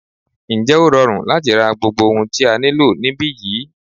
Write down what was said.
Ǹjẹ́ ó rọrùn láti ra gbogbo ohun tí a nílò níbí yìí?